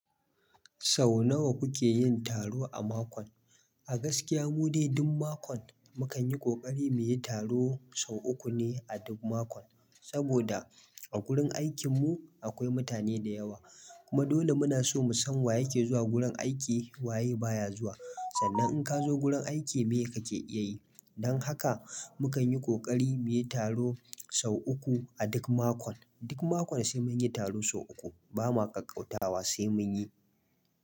Sau nawa kuke yin taro a makon? A gaskiya mu dai duk makon mu kan yi kokari mu yi taro sau uku ne a duk makon. Saboda a gurin aikin mu akwai mutane da yawa. Kuma dole muna so mu san wa yake zuwa gurin aiki wa ya baya zuwa. Sannan in ka zo wurin aiki me kake iya yi. Don haka mu kan yi kokari mu yi taro sau uku a duk makon. Duk makon sai mun yi taro sau uku. Bamuwa ƙaƙƙautawa sai mun yi.